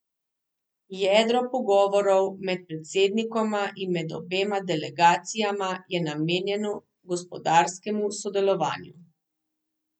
Jedro pogovorov med predsednikoma in med obema delegacijama je namenjeno gospodarskemu sodelovanju.